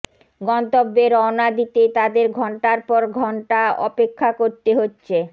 গন্তব্যে রওনা দিতে তাদের ঘণ্টার পর অপেক্ষা করতে হচ্ছে